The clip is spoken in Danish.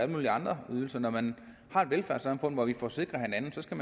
mulige andre ydelser når man har et velfærdssamfund hvor vi forsikrer hinanden så skal